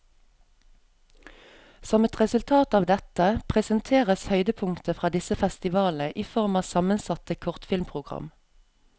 Som et resultat av dette, presenteres høydepunkter fra disse festivalene i form av sammensatte kortfilmprogram.